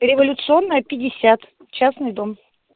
революционная пятьдесят частный дом